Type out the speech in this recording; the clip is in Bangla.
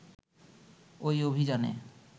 ওই অভিযানে